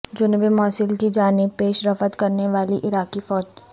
جنوبی موصل کی جانب پیش رفت کرنے والی عراقی فوج